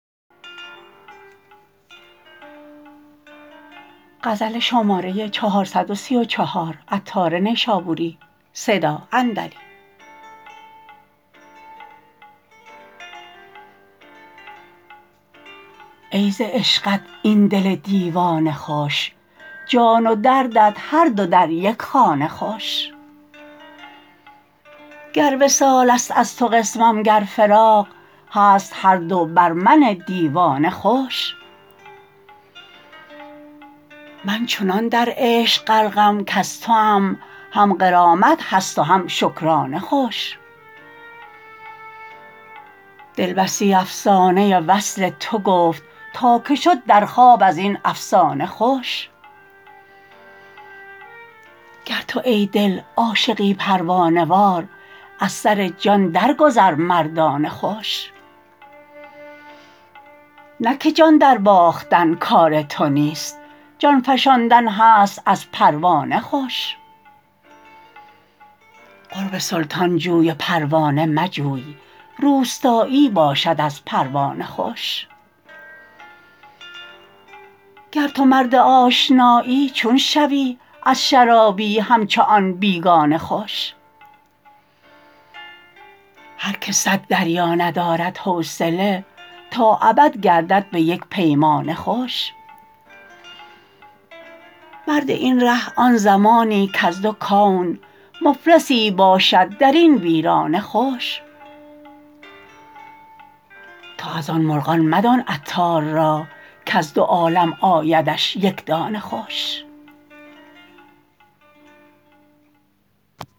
ای ز عشقت این دل دیوانه خوش جان و دردت هر دو در یک خانه خوش گر وصال است از تو قسمم گر فراق هست هر دو بر من دیوانه خوش من چنان در عشق غرقم کز توام هم غرامت هست و هم شکرانه خوش دل بسی افسانه وصل تو گفت تا که شد در خواب ازین افسانه خوش گر تو ای دل عاشقی پروانه وار از سر جان درگذر مردانه خوش نه که جان درباختن کار تو نیست جان فشاندن هست از پروانه خوش قرب سلطان جوی و پروانه مجوی روستایی باشد از پروانه خوش گر تو مرد آشنایی چون شوی از شرابی همچو آن بیگانه خوش هر که صد دریا ندارد حوصله تا ابد گردد به یک پیمانه خوش مرد این ره آن زمانی کز دو کون مفلسی باشی درین ویرانه خوش تو از آن مرغان مدان عطار را کز دو عالم آیدش یک دانه خوش